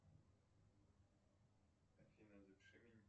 афина запиши меня